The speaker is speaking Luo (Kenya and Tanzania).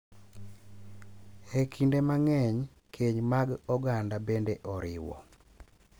E kinde mang’eny, keny mag oganda bende oriwo,